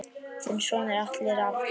Þinn sonur Atli Rafn.